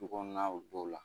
Du kɔnɔnaw don o la